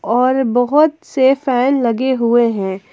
और बहुत से फैन लगे हुए हैं।